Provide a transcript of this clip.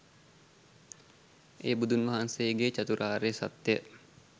එය බුදුන් වහන්සේගේ චතුරාර්ය සත්‍ය